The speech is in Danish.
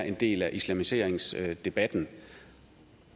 en del af islamiseringsdebatten